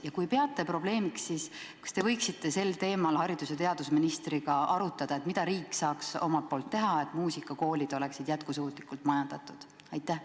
Ja kui te peate seda probleemiks, kas te võiksite sel teemal haridus- ja teadusministriga arutada, mida riik saaks omalt poolt teha, et muusikakoolid oleksid jätkusuutlikult majandatud?